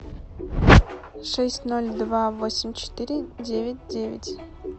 шесть ноль два восемь четыре девять девять